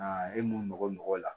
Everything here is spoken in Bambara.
e mun bɛ bɔ mɔgɔ la